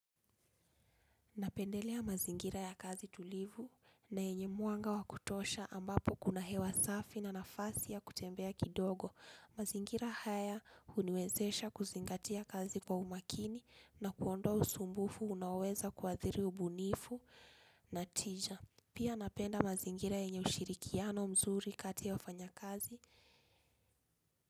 Napendelea mazingira ya kazi tulivu na enye muanga wakutosha ambapo kuna hewa safi na nafasi ya kutembea kidogo. Mazingira haya uniwezesha kuzingatia kazi kwa umakini na kuondowa usumbufu unaweza kwathiri ubunifu na tija. Pia napenda mazingira enye ushirikiano mzuri kati ya wafanya kazi.